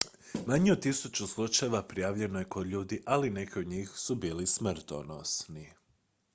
manje od tisuću slučajeva prijavljeno je kod ljudi ali neki od njih su bili smrtonosni